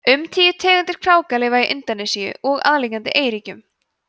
um tíu tegundir kráka lifa í indónesíu og aðliggjandi eyríkjum